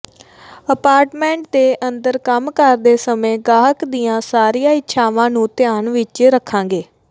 apartment ਦੇ ਅੰਦਰ ਕੰਮ ਕਰਦੇ ਸਮੇਂ ਗਾਹਕ ਦੀਆਂ ਸਾਰੀਆਂ ਇੱਛਾਵਾਂ ਨੂੰ ਧਿਆਨ ਵਿਚ ਰੱਖਾਂਗੇ